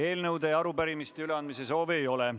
Eelnõude ja arupärimiste üleandmise soovi ei ole.